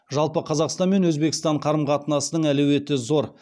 жалпы қазақстан мен өзбекстан қарым қатынасының әлеуеті зор